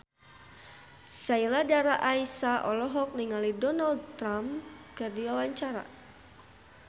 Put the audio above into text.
Sheila Dara Aisha olohok ningali Donald Trump keur diwawancara